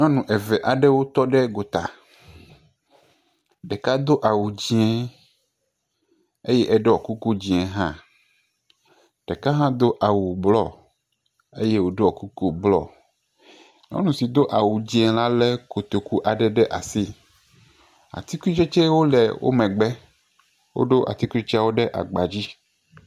Nyɔ eve aɖewo tɔ ɖe gota. Ɖeka do awu dzɛ eye wo ɖɔ kuku dzɛ hã. Ɖeka hã do awu bluɔ eye wo ɖɔ kuku bluɔ. Nyɔnu si do awu dzɛ la le kotoku ɖe asi. Atikutsetsewo le wo megbe. Wo ɖo atikutsetsewo ɖe agba dzi.